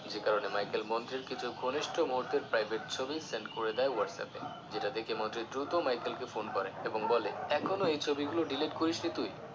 যে কারণে Michael মন্ত্রীর কিছু ঘনিষ্ট মুহুর্তের private ছবি send করে দেয় what's app এ যেটা দেখে মন্ত্রী দ্রুত Michael কে ফোন করে এবং বলে এখনো এই ছবি গুলো delete করিসনি তুই